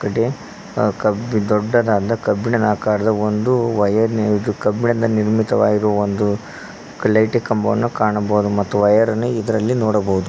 ಡೆ ಅ ಕಬ್ಬಿ ದೊಡ್ಡದಾದ ಕಬ್ಬಿಣದ ಆಕಾರದ ಒಂದು ವಯರ್ ನೆ ಇದು ಕಬ್ಬಿಣದ ನಿರ್ಮಿತವಾಗಿರುವ ಒಂದು ಲೈಟಿ ಕಂಬವನ್ನು ಕಾಣಬಹುದು ಮತ್ತು ವಯರ್ ಅನ್ನು ಇದರಲ್ಲಿ ನೋಡಬಹುದು.